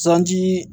Sanji